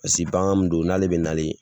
I bɛ se k'an don n'ale bɛ nale.